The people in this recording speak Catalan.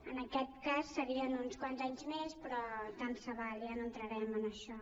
en aquest cas serien uns quants anys més però tant se val ja no entrarem en això